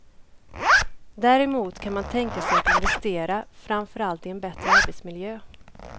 Däremot kan man tänka sig att investera, framför allt i en bättre arbetsmiljö.